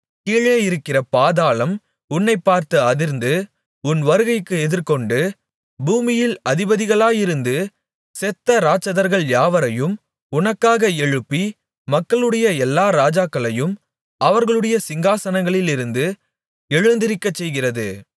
கீழே இருக்கிற பாதாளம் உன்னைப்பார்த்து அதிர்ந்து உன் வருகைக்கு எதிர்கொண்டு பூமியில் அதிபதிகளாயிருந்து செத்த இராட்சதர் யாவரையும் உனக்காக எழுப்பி மக்களுடைய எல்லா ராஜாக்களையும் அவர்களுடைய சிங்காசனங்களிலிருந்து எழுந்திருக்கச்செய்கிறது